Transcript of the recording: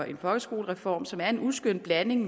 en folkeskolereform som er en uskøn blanding